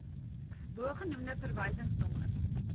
bogenoemde verwysings nommer